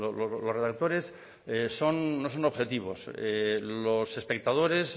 los redactores no son objetivos los espectadores